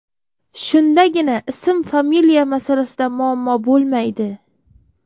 Shundagina ism-familiya masalasida muammo bo‘lmaydi.